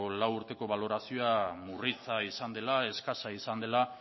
lau urteko balorazioa murritza izan dela eskasa izan dela